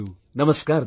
Namaskar brother